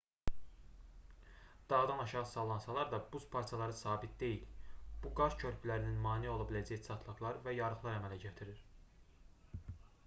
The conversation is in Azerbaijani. dağdan aşağı sallansalar da buz parçaları sabit deyil bu qar körpülərinin mane ola biləcəyi çatlaqlar və yarıqlar əmələ gətirir